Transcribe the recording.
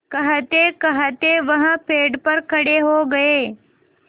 कहतेकहते वह पेड़ पर खड़े हो गए